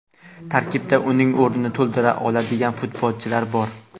Tarkibda uning o‘rnini to‘ldira oladigan futbolchilar bor.